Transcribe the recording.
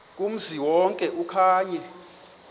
kumzi wonke okanye